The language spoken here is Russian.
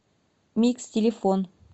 микс телефон